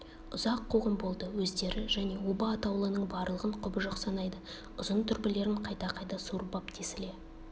ұзақ қуғын болды өздері және оба атаулының барлығын құбыжық санайды ұзын дүрбілерін қайта-қайта суырып ап тесіле